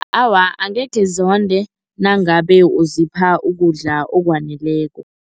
Awa, angekhe zonde nangabe uzipha ukudla okwaneleko.